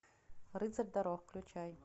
рыцарь дорог включай